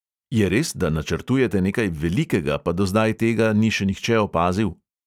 Je res, da načrtujete nekaj velikega, pa do zdaj tega ni še nihče opazil?